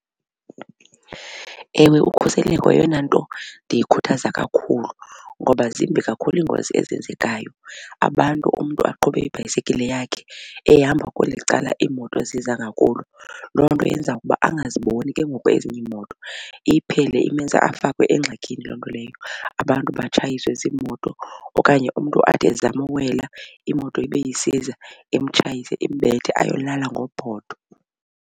Ewe, ukhuseleko yeyona nto ndiyikhuthaza kakhulu ngoba zimbi kakhulu iingozi ezenzekayo. Abantu umntu aqhube ibhayisekile yakhe ehamba kweli cala iimoto ziza ngakulo. Loo nto yenza ukuba angaziboni ke ngoku ezinye iimoto iphele imenza afakwe engxakini loo nto leyo abantu batshayiswe ziimoto okanye umntu athi ezama ukuwela imoto ibe isiza imtshayise imbethe ayolala ngophotho.